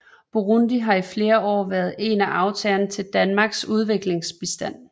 Burundi har i flere år været en af aftagerne til Danmarks udviklingsbistand